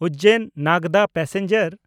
ᱩᱡᱡᱮᱱ-ᱱᱟᱜᱽᱫᱟ passenger